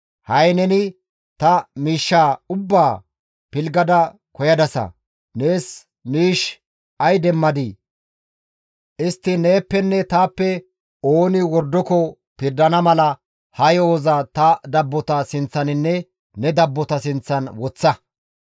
Ha7i neni ta miishshaa ubbaa pilggada koyadasashin ay demmadii? Istti neeppenne taappe ooni wordoko pirdana mala ha yo7oza ta dabbota sinththaninne ne dabbota sinththan woththa.